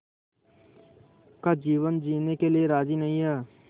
का जीवन जीने के लिए राज़ी नहीं हैं